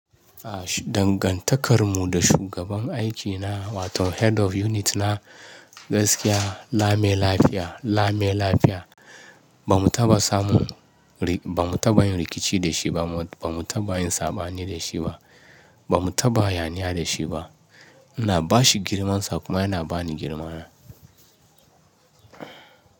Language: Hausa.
Dangantakar mu da shugaban aikina wato head of unit na gaskiya lame-lafiya, lame-lafiya. Ba mu taɓa samun, ba mu taɓa yin rikici da shi ba, ba mu taɓa yin saɓani da shi ba, ba mu taɓa hayaniya da shi ba. Ina ba shi girmansa kuma yana ba ni girmana.